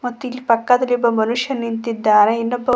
ಮತ್ತೆ ಇಲ್ಲಿ ಪಕ್ಕದಲ್ಲಿ ಒಬ್ಬ ಮನುಷ್ಯ ನಿಂತಿದ್ದಾನೆ ಇನ್ನೊಬ್ಬ--